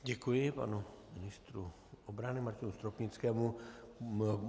Děkuji panu ministru obrany Martinu Stropnickému.